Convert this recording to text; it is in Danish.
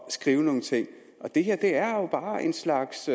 skrive nogle ting det her er jo bare en slags